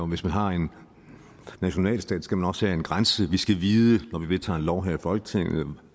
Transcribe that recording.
hvis man har en nationalstat skal man også have en grænse vi skal vide når vi vedtager en lov her i folketinget